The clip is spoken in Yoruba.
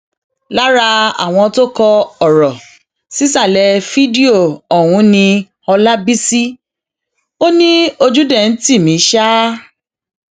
lára àwọn tó kọ ọrọ sísàlẹ fídíò ọhún ni hólábéṣeé ò ní ojú dé ń tì mí ṣá